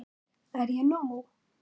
Er ég nóg!